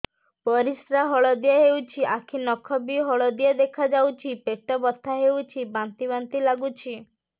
ପରିସ୍ରା ହଳଦିଆ ହେଉଛି ଆଖି ନଖ ବି ହଳଦିଆ ଦେଖାଯାଉଛି ପେଟ ବଥା ହେଉଛି ବାନ୍ତି ବାନ୍ତି ଲାଗୁଛି